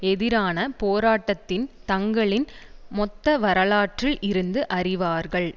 எதிரான போராட்டத்தின் தங்களின் மொத்த வரலாற்றில் இருந்து அறிவார்கள்